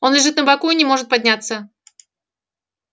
он лежит на боку и не может подняться